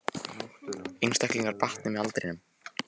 Einstaklingar batni með aldrinum